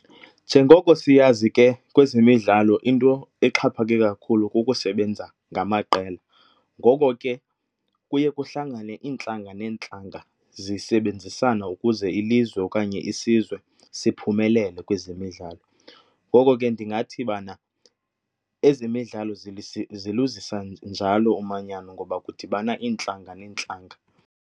Njengoko siyazi ke kwezemidlalo into exhaphake kakhulu kukusebenza ngamaqela ngoko ke kuye kuhlangane iintlanga neentlanga zisebenzisana ukuze ilizwe okanye isizwe siphumelele kwezemidlalo. Ngoko ke ndingathi bana ezemidlalo ziluzisa njalo umanyano ngoba kudibana iintlanga neentlanga.